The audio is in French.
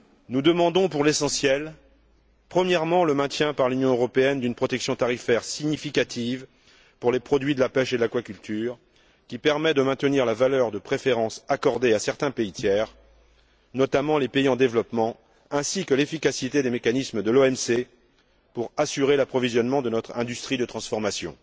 Nous demandons pour l'essentiel premièrement, le maintien par l'Union européenne d'une protection tarifaire significative pour les produits de la pêche et de l'aquaculture, qui permette de maintenir la valeur des préférences accordées à certains pays tiers, notamment les pays en développement, ainsi que l'efficacité des mécanismes de l'OMC pour assurer l'approvisionnement de notre industrie de transformation.